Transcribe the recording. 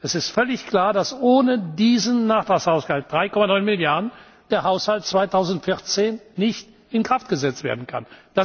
Es ist völlig klar, dass ohne diesen Nachtragshaushalt 3,9 Milliarden der Haushalt 2014 nicht in Kraft gesetzt werden